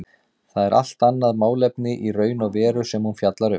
Það er allt annað málefni í raun og veru sem hún fjallar um.